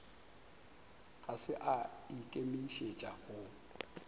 ga se a ikemišetša go